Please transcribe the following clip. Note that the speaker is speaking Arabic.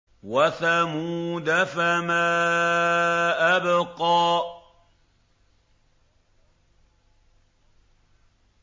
وَثَمُودَ فَمَا أَبْقَىٰ